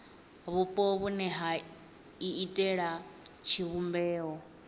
vhupo vhune ha iitela tshivhumbeo